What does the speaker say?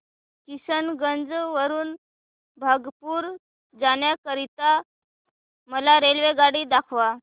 किशनगंज वरून भागलपुर जाण्या करीता मला रेल्वेगाडी दाखवा